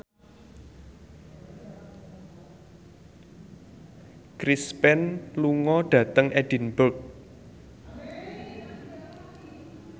Chris Pane lunga dhateng Edinburgh